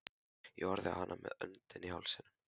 Ég horfði á hana með öndina í hálsinum.